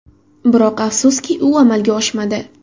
Biroq, afsuski u amalga oshmadi.